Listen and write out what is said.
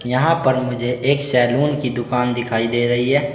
यहां पर मुझे एक सैलून की दुकान दिखाई दे रही है।